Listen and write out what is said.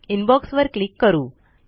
inbox वर click करू